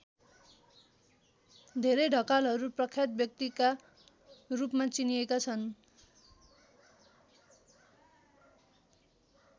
धेरै ढकालहरू प्रख्यात व्यक्तिका रूपमा चिनिएका छन्।